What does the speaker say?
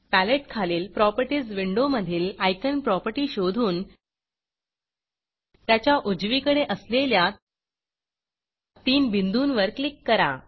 paletteपॅलेट खालील Propertiesप्रॉपेर्टिज विंडो मधील iconआइकान प्रॉपर्टी शोधून त्याच्या उजवीकडे असलेल्या तीन बिंदूंवर क्लिक करा